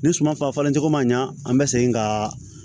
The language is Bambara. Ni suma fa falen cogo man ɲa an bɛ segin ka